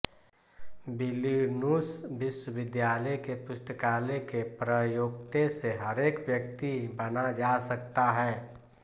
Vilnius विश्वविद्यालय के पुस्तकालय के प्रयोक्ते से हरेक व्यक्ति बना जा सकता है